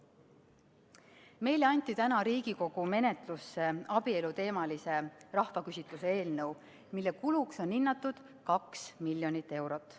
Täna anti Riigikogu menetlusse abieluteemalise rahvaküsitluse eelnõu, mille kuluks on hinnatud 2 miljonit eurot.